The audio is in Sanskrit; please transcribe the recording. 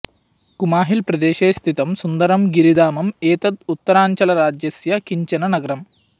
कुमाहिल् प्रदेशे स्थितं सुन्दरं गिरिधाम एतत् उत्तराञ्चलराज्यस्य किञ्चन नगरम्